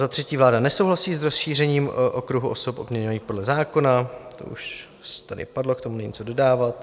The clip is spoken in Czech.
Za třetí, vláda nesouhlasí s rozšířením okruhu osob odměňovaných podle zákona - to už tady padlo, k tomu není co dodávat.